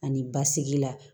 Ani basigi la